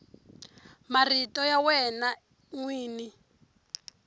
marito ya wena n wini